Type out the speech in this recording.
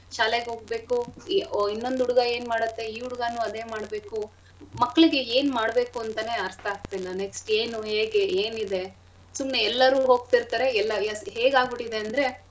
ಶಾಲೆಗ್ಹೋಬೇಕು ಈ ಒ~ ಇನ್ನೊಂದ್ ಹುಡ್ಗ ಏನ್ ಮಾಡತ್ತೆ ಈ ಹುಡ್ಗನೂ ಅದೇ ಮಾಡ್ಬೇಕು. ಮಕ್ಳಿಗೆ ಏನ್ ಮಾಡ್ಬೇಕು ಅಂತನೇ ಅರ್ಥಾಗ್ತಿಲ್ಲ next ಏನು ಹೇಗೆ ಏನಿದೆ ಸುಮ್ನೆ ಎಲ್ಲಾರೂ ಹೋಗ್ತಿರ್ತರೆ ಎಲ್ಲಾ yes ಹೇಗ್ ಆಗ್ಬಿಟಿದೆ ಅಂದ್ರೆ.